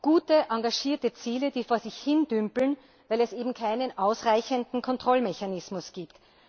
Gute, engagierte Ziele, die jedoch vor sich hindümpeln, weil es eben keinen ausreichenden Kontrollmechanismus gibt.